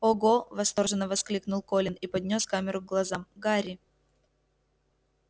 ого восторженно воскликнул колин и поднёс камеру к глазам гарри